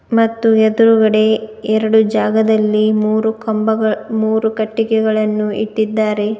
ಮತ್ತು ಎದ್ರುಗಡೆ ಎರಡು ಜಾಗದಲ್ಲಿ ಮೂರು ಕಂಬಗ ಮೂರು ಕಟ್ಟಿಗೆಗಳನ್ನು ಇಟ್ಟಿದ್ದಾರೆ.